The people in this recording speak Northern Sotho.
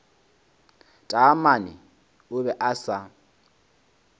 taamane o be a sa